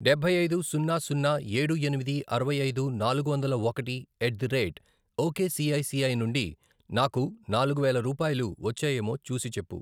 డబ్బై ఐదు, సున్నా, సున్నా, ఏడు, ఎనిమిది, అరవై ఐదు, నాలుగు వందల ఒకటి, ఎట్ ది రేట్ ఒకేసిఐసిఐ నుండి నాకు నాలుగు వేల రూపాయలు వచ్చాయేమో చూసిచెప్పు.